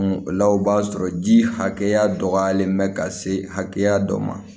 O la o b'a sɔrɔ ji hakɛya dɔgɔyalen bɛ ka se hakɛya dɔ ma